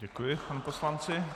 Děkuji panu poslanci.